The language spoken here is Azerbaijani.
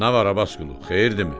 Nə var Abbasqulu, xeyirdimi?